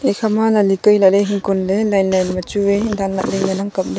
ekhama lahli kai lahle hing kon le line line ma chu wai dan lahle ngan ang kap le.